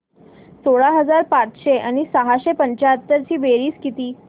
सोळा हजार पाचशे आणि सहाशे पंच्याहत्तर ची बेरीज किती